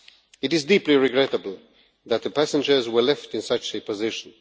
It is deeply regrettable that the passengers were left in such a position.